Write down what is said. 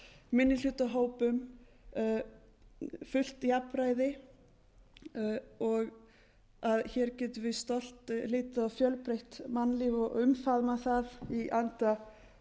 minnihlutahópum fullt jafnræði og að hér getum við stolt litið á fjölbreytt mannlíf og umfaðmað það í anda